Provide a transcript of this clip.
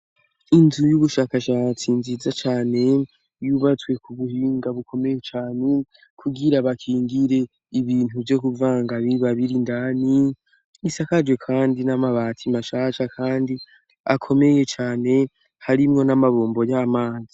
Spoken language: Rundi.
Inzu y'ubushakashatsi nziza cane yubatswe ku buhinga bukomeye cane, kugira bakingire ibintu vyo kuvanga biba biri indani ; isakarje kandi n'amabati mashasha kandi akomeye cane, harimwo n'amabombo y'amazi.